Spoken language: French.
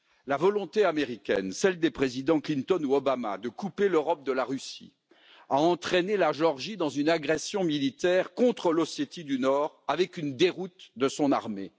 La volonté américaine, celle des présidents Clinton ou Obama, de couper l'Europe de la Russie a entraîné la Géorgie dans une agression militaire contre l'Ossétie du Nord avec une déroute de son armée.